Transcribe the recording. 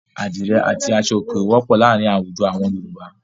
Àdìrẹ́ àti aṣọòkè wọ́pọ̀ láàárin láwùjọ àwọn.